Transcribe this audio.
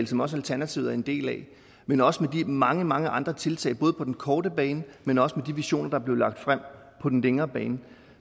som også alternativet en del af men også med de mange mange andre tiltag både på den korte bane men også de visioner der er blevet lagt frem på den længere bane